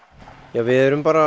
við erum bara